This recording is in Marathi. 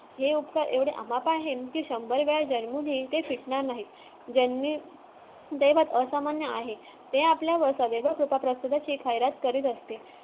हे उपकार एवढे अमाप आहेत कि शंभर वेळा जन्मूनही ते फिटणार नाहीत जन्म असामान्य आहे ते आपल्या वेगळ्या खैरात करत असते